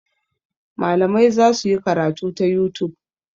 Malamai za su yi karatu ta youtube.